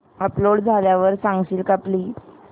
upload झाल्यावर सांगशील का प्लीज